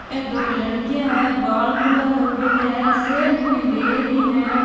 ये दो लड़कियां हैं बाल खुल्ला कर मेल्या है सेल्फी ले रही है।